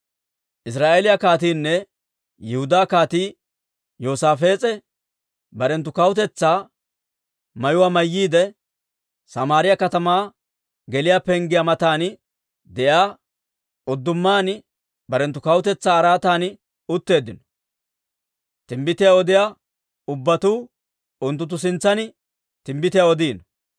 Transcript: Israa'eeliyaa kaatiinne Yihudaa Kaatii Yoosaafees'e barenttu kawutetsaa mayuwaa mayyiide, Samaariyaa katamaa geliyaa penggiyaa matan de'iyaa uddumaan barenttu kawutetsaa araatan utteeddino; Timbbitiyaa odiyaa ubbatuu unttunttu sintsan timbbitiyaa odiino.